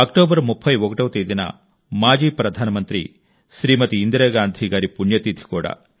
October 31వ తేదీన మాజీ ప్రధానమంత్రి శ్రీమతి ఇందిరా గాంధీ గారి పుణ్య తిథి కూడా